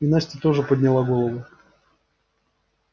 и настя тоже подняла голову